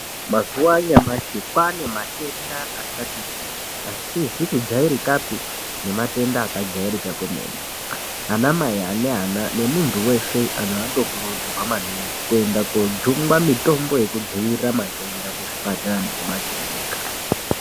Mazuva anyamashi kwane matenda akati kuti asizi kujairikapi neakajairika kwemene ana mai ane ana nemuntu weshe ano kurudzirwa maningi kuenda kojungwa mitombo yekudzivirira matenda kuzv ipatara neku makiriniki.